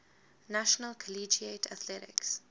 national collegiate athletic